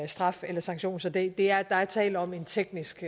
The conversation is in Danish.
straf eller sanktion så der der er tale om en teknisk